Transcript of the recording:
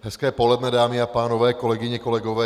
Hezké poledne, dámy a pánové, kolegyně, kolegové.